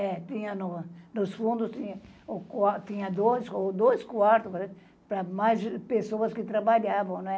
É, tinha no nos fundo, ti tinha dos tinha dois quartos para mais pessoas que trabalhavam, né?